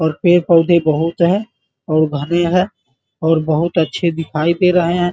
और पेड़ पौधे बहुत है और घने है और बहुत अच्छे दिखाई दे रहे हैं ।